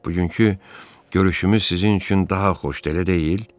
Bugünkü görüşümüz sizin üçün daha xoşdur, elə deyil?